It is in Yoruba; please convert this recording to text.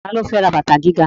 Ta ló fẹ́ ra bàtà gíga?